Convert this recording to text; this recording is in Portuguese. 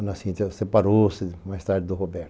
A Ana Cíntia separou-se mais tarde do Roberto.